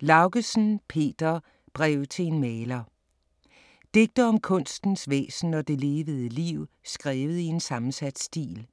Laugesen, Peter: Brev til en maler Digte om kunstens væsen og det levede liv skrevet i en sammensat stil.